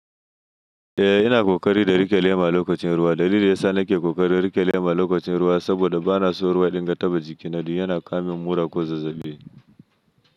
Eh, yana ƙoƙari da riƙe lema a lokacin ruwa. Dalilin da ya sa na ke ƙoƙarin riƙe lema a lokacin ruwa saboda bana so ruwa dinga taɓa jikina, don yana kawo min mura ko zazzaɓi.